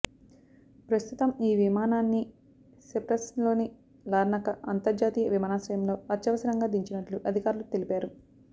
ప్రస్తుతం ఈ విమానాన్ని సైప్రస్లోని లార్నాకా అంతర్జాతీయ విమానాశ్రయంలో అత్యవసరంగా దించినట్లు అధికారులు తెలిపారు